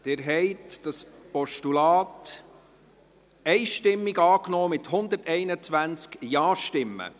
Sie haben dieses Postulat einstimmig angenommen, mit 121 Ja-Stimmen.